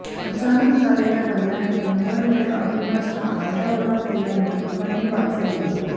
अचानक झालेल्या हल्ल्याने गोंधळलेल्या अविनाशने हल्ला आरोडाओरडा केल्याने लोकांनी त्यास वाचवला